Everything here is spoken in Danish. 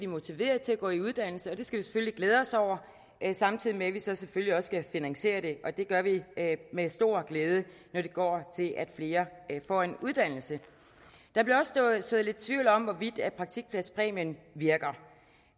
motiveret til at gå i uddannelse det skal vi selvfølgelig glæde os over samtidig med at vi selvfølgelig så også skal finansiere det og det gør vi med stor glæde når det går til at flere får en uddannelse der blev også sået lidt tvivl om hvorvidt praktikpladspræmien virker